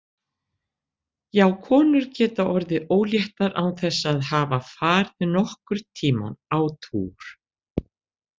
Já, konur geta orðið óléttar án þess að hafa farið nokkurn tímann á túr.